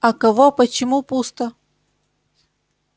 а кого почему пусто